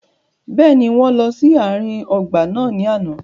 Bẹ́ẹ̀ni, wọn lọ si aarin ọgba naa ni ana.